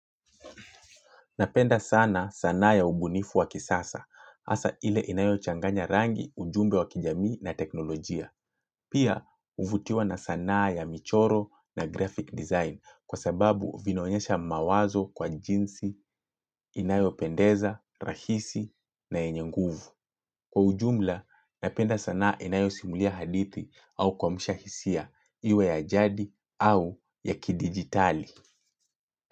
Napenda sana sanaa ya ubunifu wa kisasa, hasa ile inayochanganya rangi, ujumbe wa kijamii na teknolojia. Pia, huvutiwa na sanaa ya michoro na graphic design kwa sababu vinaonyesha mawazo kwa jinsi, inayopendeza, rahisi na enye nguvu. Kwa ujumla, napenda sanaa inayosimulia hadithi au kuamsha hisia, iwe ya ajadi au ya kidigitali.